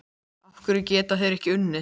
Af hverju geta þeir ekki unnið?